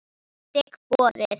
Ég þigg boðið.